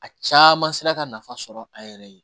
A caman sera ka nafa sɔrɔ a yɛrɛ ye